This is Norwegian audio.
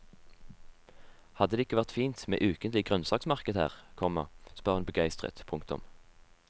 Hadde det ikke vært fint med ukentlig grønnsakmarked her, komma spør hun begeistret. punktum